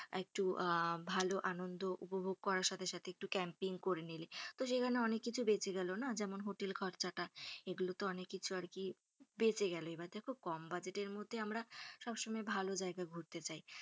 একটু আহ ভালো আনন্দ উপভোগ করার সাথে সাথে একটু কেম্পিং করে নিলে তো সেখানে অনেক কিছু বেচে গেলো না যেমন হোটেল খরচাটা এগুলো অনেক কিছু আরকি বেচে গেলো এবার দেখো কম বাজেটের মধ্যে আমরা সব সময় ভালো জায়গা ঘুরতে যেতে চায়,